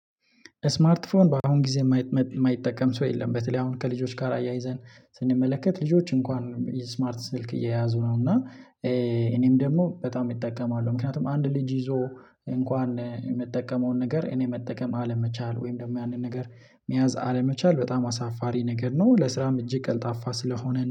ስማርት ፎን በአሁን ጊዜ የማይጠቀም ሰው የለም በተለይ አሁን ከልጆች ጋር አያይዘን ስንመለከት ልጆች እንኳን ስማርት ስልክ የያዙ ነው። እና እኔም ደግሞ በጣም እጠቀማለሁ ምክንያቱም አንድ ልጅ ይዞ እንኳን የምጠቀመውን ነገር እኔ መጠቀም አለመቻል ወይም ደግሞ ያንን ነገር መያዝ አለመቻል በጣም አሳፋሪ ነገር ነው። ለስራም እጅግ ቀልጣፋ ስለሆነ